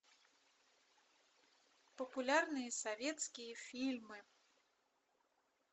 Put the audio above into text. популярные советские фильмы